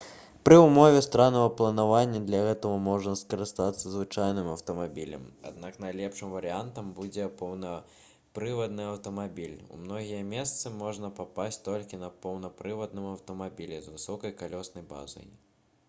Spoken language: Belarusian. пры ўмове стараннага планавання для гэтага можна скарыстацца звычайным аўтамабілем аднак найлепшым варыянтам будзе поўнапрывадны аўтамабіль у многія месцы можна папасці толькі на поўнапрывадным аўтамабілі з высокай калёснай базай